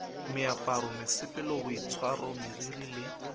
meaparo mesepelo boitshwaro meriri le